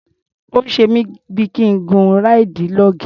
Ó ń ṣe mí bí i kí n gun ráìdì log.